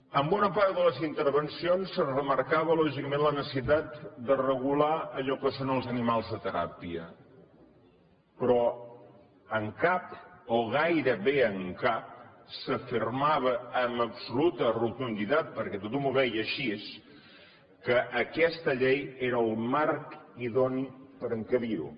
en bona part de les intervencions es remarcava lògicament la necessitat de regular allò que són els animals de teràpia però en cap o gairebé en cap s’afirmava amb absoluta rotunditat perquè tothom ho veia així que aquesta llei era el marc idoni per encabir ho